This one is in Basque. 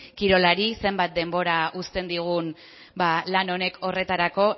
kirolari zenbat denbora uzten digun lan honek horretarako